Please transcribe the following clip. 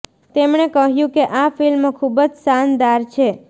તેમણે કહ્યું કે આ ફિલ્મ ખૂબ જ શાનદાર છે